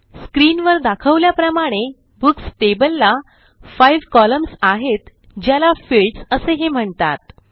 स्क्रीनवर दाखवल्याप्रमाणे books table ला 5 कॉलम्न्स आहेत ज्याला fieldsअसेही म्हणतात